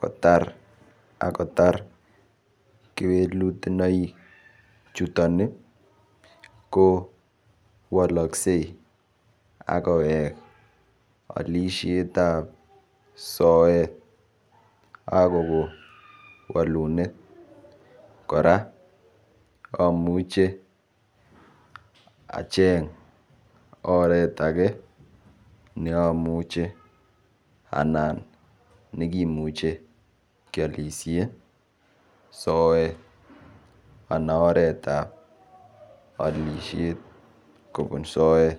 kotar akotar kewelutonaik chuton ko woloksei akowek alishet ap soet akon walunet kora amuche acheng oret age neamuche anan nekimuche kialiashe soet anan oret ap olishet kobun soet.